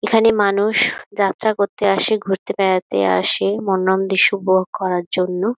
এখানে মানুষ যাত্রা করতে আসে ঘুরতে বেড়াতে আসে মনোরম দৃশ্য উপভোগ করার জন্য।